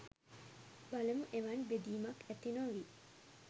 බලමු එවන් බෙදීමක් ඇති නොවී